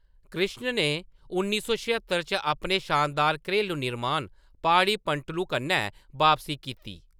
कृष्ण ने उन्नी सौ छेह्त्तर च अपने शानदार घरेलू निर्माण ‘पाड़ि पंटलु' कन्नै बापसी कीती।